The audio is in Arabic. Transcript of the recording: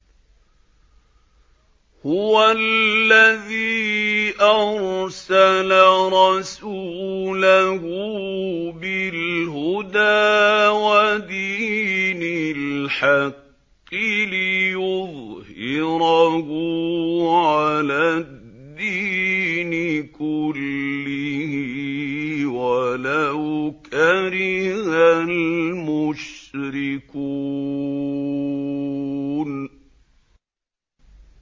هُوَ الَّذِي أَرْسَلَ رَسُولَهُ بِالْهُدَىٰ وَدِينِ الْحَقِّ لِيُظْهِرَهُ عَلَى الدِّينِ كُلِّهِ وَلَوْ كَرِهَ الْمُشْرِكُونَ